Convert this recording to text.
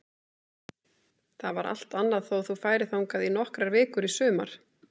Það var allt annað þó þú færir þangað í nokkrar vikur í sumar.